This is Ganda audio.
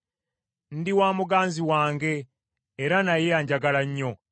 Ndi wa muganzi wange, era naye anjagala nnyo.